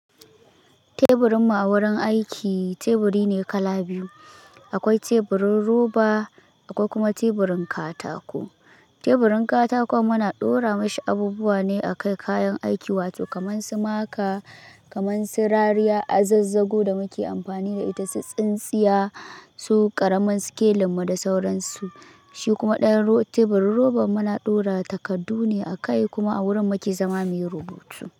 Teburin mu a wurin aiki teburi ne kala biyu. Akwai teburin roba akwai kuma teburin katako. Teburin katako muna ɗora mashi abubuwa ne a kai kayan aiki wato kamar su maka, kamar su rariya, azazzago da muke amfani da ita, tsintsiya, su ƙaramin skelinmu da sauransu. Shi kuma ɗayan teburin roba muna ɗora takaddune a kai kuma a wurin muke zama muyi rubutu.